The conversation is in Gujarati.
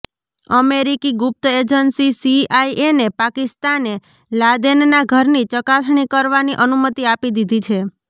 અમેરિકી ગુપ્ત એજંસી સીઆઈએને પાકિસ્તાને લાદેનના ઘરની ચકાસણી કરવાની અનુમતિ આપી દીધી છે